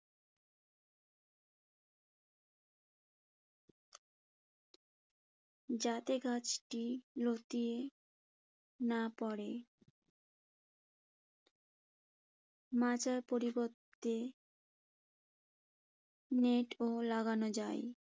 যাতে গাছটি লতিয়ে না পরে। মাচার পরিবর্তে নেট ও লাগানো যায়।